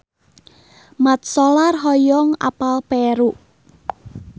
Mat Solar hoyong apal Peru